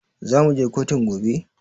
Zamuje kotun gobe?